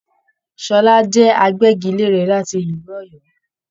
Ṣọlá jẹ àgbẹgilère láti ìlú Òyọ́.